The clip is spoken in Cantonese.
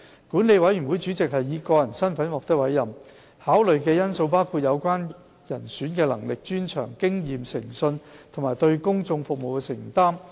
管理委員會主席是以個人身份獲得委任，考慮的因素包括有關人選的能力、專長、經驗、誠信和對公眾服務的承擔。